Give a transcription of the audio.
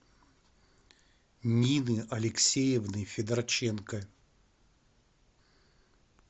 нины алексеевны федорченко